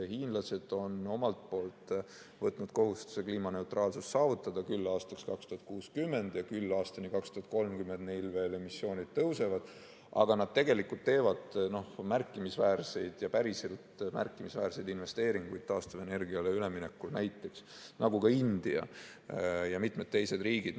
Hiinlased on omalt poolt võtnud kohustuse kliimaneutraalsus saavutada –küll aastaks 2060 ja aastani 2030 neil emissioonid veel tõusevad, aga nad tegelikult teevad märkimisväärseid ja päriselt märkimisväärseid investeeringuid taastuvenergiale üleminekuks, nagu ka India ja mitmed teised riigid.